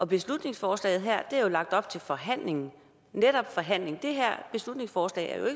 beslutningsforslaget er der jo lagt op til forhandling netop forhandling det her beslutningsforslag er jo